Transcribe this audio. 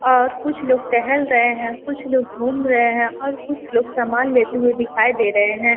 और कुछ लोग टहल रहे हैं। कुछ लोग घूम रहे हैं और कुछ लोग सामान लेते हुए दिखाई दे रहे हैं।